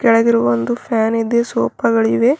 ಕೆಳಗಿರುವ ಒಂದು ಫ್ಯಾನ್ ಇದೆ ಸೋಫಾ ಗಳಿವೆ.